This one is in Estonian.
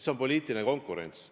See on poliitiline konkurents.